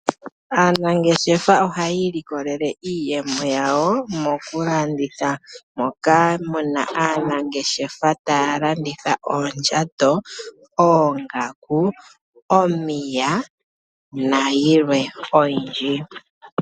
Aanangeshefa ohayi ilokelele iiyemo yawo mokulanditha, moka mu na aanangeshefa taya landitha oondjato, oongaku , omiya nayilwe oyindji.